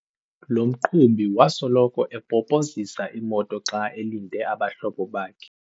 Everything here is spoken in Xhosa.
Lo mqhubi wasoloko epopozisa imoto xa elinde abahlobo bakhe.